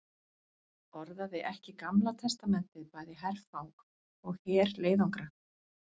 Orðaði ekki Gamla testamentið bæði herfang og herleiðangra?